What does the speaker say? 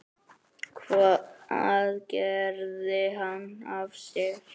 Hvað gerði hann af sér?